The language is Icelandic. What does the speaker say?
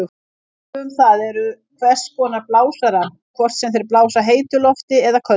Dæmi um það eru hvers konar blásarar, hvort sem þeir blása heitu lofti eða köldu.